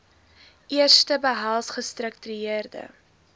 eerste behels gestruktureerde